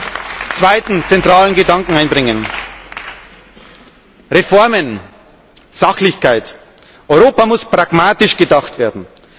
Ich möchte einen zweiten zentralen Gedanken einbringen Reformen, Sachlichkeit Europa muss pragmatisch gedacht werden.